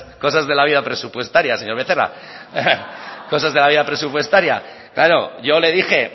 cosas de la vida presupuestaria señor becerra cosas de la vida presupuestaria claro yo le dije